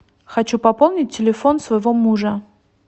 хочу пополнить телефон своего мужа